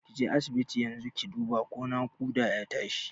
Kije asibiti yanzu ki duba ko naƙuda ne ya tashi